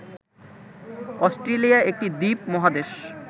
Australia একটি দ্বীপ-মহাদেশ।